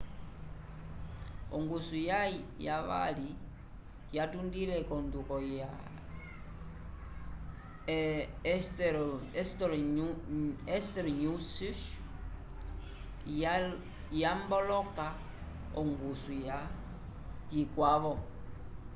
ongusu yaye yavali yatundile ko nduko ya hesperonychus yamboloka ongusu ka yikwavo